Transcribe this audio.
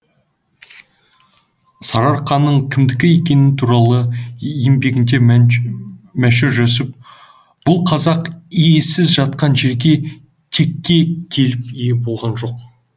сарыарқаның кімдікі екендігі туралы еңбегінде мәшһүр жүсіп бұл қазақ иесіз жатқан жерге текке келіп ие болған жоқ